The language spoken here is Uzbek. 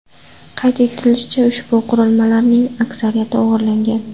Qayd etilishicha, ushbu qurilmalarning aksariyati o‘g‘irlangan.